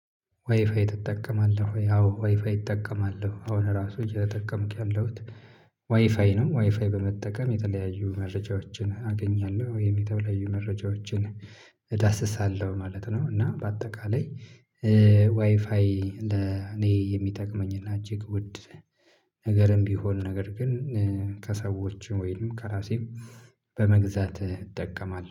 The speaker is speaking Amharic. ዋይፋይ ትጠቀማለህ ወይ? አዎ ዋይፋይ እጠቀማለሁ አሁን ራሱ እየተጠቀምክ ያለሁት ዋይፋይ ነው። ዋይፋይ በመጠቀም የተለያዩ መረጃዎችን አገኛለሁ ወይም የተለያዩ መረጃዎችን እዳስሳለሁ ማለት ነው። እና በአጠቃላይ እ ዋይፋይ እንደ እኔ የሚጠቅመኝ እና እጅግ ውድ ነገርም ቢሆን ነገር ግን እ ከሰዎችም ወይንም ከራሴም በመግዛት እጠቀማለሁ